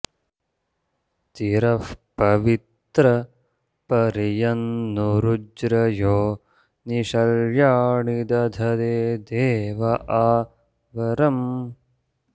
ति॒रः प॒वित्रं॑ परि॒यन्नु॒रु ज्रयो॒ नि शर्या॑णि दधते दे॒व आ वर॑म्